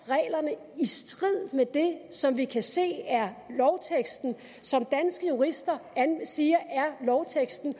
reglerne i strid med det som vi kan se er lovteksten og som danske jurister siger er lovteksten